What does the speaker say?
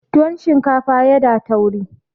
tuwon shinkafa ya da tauri